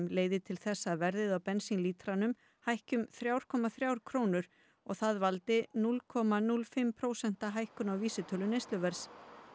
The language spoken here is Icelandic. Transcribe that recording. leiði til þess að verðið á bensínlítranum hækki um þrjá komma þrjár krónur og það valdi núll komma núll fimm prósent hækkun á vísitölu neysluverðs